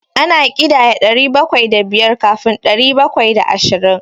Ana ƙidaya ɗari bakwai da biyar kafin ɗari bakwai da ashirin.